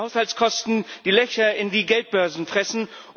Steigende Haushaltskosten, die Löcher in die Geldbörsen fressen.